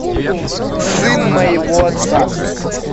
сын моего отца